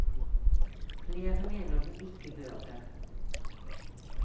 Flere mener den ikke bør det.